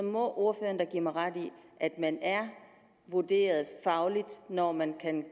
må ordføreren da give mig ret i at man er vurderet fagligt når man kan